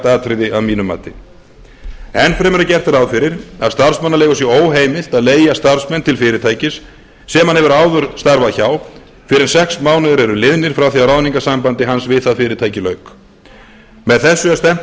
atriði að mínu mati enn fremur er gert rá fyrir að starfsmannaleigu sé óheimilt að leigja starfsmenn til fyrirtækis sem hann hefur áður starfað hjá fyrr en sex mánuðir eru liðnir áfram því að ráðningarsambandi hans við það fyrirtæki lauk með þessu er stefnt að